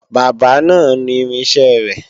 Bábà náà nu irinṣẹ́ rẹ